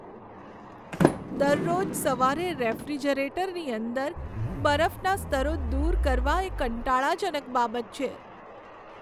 દરરોજ સવારે રેફ્રિજરેટરની અંદર બરફના સ્તરો દૂર કરવા એ કંટાળાજનક બાબત છે.